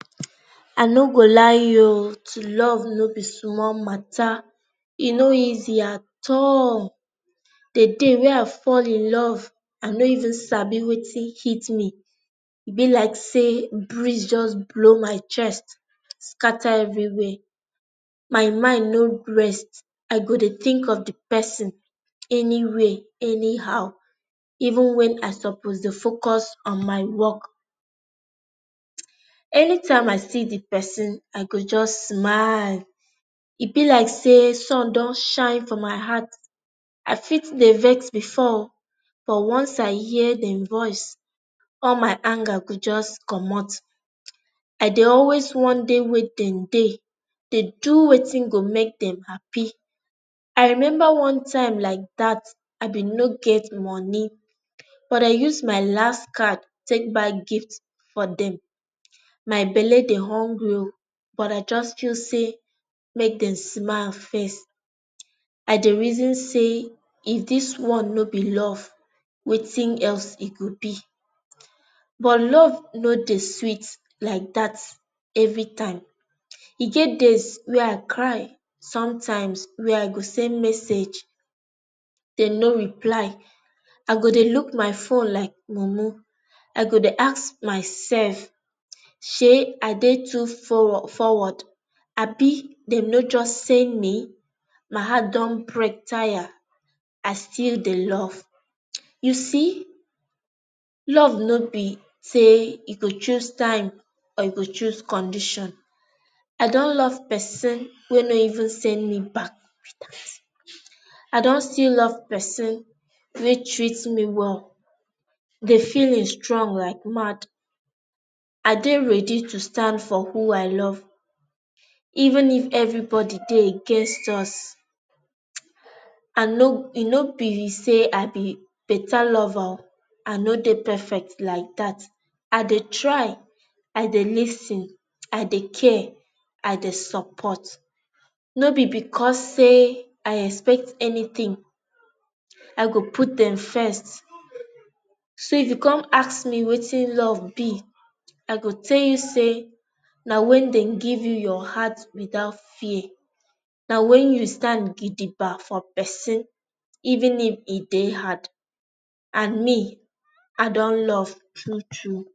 I no go lie you oo to love no be small mata. E no easy at all. The day wey I fall in love i no even sabi Wetin hit me. e be like say breeze just blow my chest scatter everywhere. My mind no rest. I go Dey think of the person anyway anyhow even when I suppose dey focus on my work. Anytime I see the pesin I go just smileeee. E b like say sun dun shine for my heart. i fit Dey vex before o, but once I hear e voice all my anger go just comot. I Dey always wan Dey where den dey, Dey do Wetin go make dem happy. I remember one time like that I bin no get money but I use my last card take buy gift for dem. My belle dey hungry oo but I just choose say make dem smile first. I Dey reason say, if this one no be love, Wetin else e go be? But love no Dey sweet like that every time. E get days wey I cry sometimes wey I go send message dem no reply. I go Dey look my phone like mumu. I go Dey ask myself Shey I Dey too fo forward Abi dem no just send me? My heart dun break tire. I still Dey love. You see love no be say you go choose time or you go choose condition. I dun love person wey no even send me back, who be that? I dun still love pesin wey treat me well. The feelings strong like mad. I Dey ready to stand for who I love, even if everybody Dey against us. i no e no be say I be beta lover oo, I no Dey perfect like that. I Dey try, I Dey lis ten I Dey care, I Dey support. no be because say I dey expect anything. I go put dem first, so if you con ask me Wetin love be I go tell you say, na when dem give you your heart without fear. Na when you stand gidigba for pesin even if e Dey hard and me, I dun love, true true.